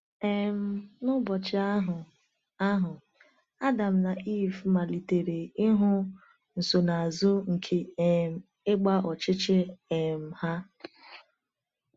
um N’ụbọchị ahụ ahụ, Adam na Ivụ malitere ịhụ nsonaazụ nke um ịgba ọchịchị um ha.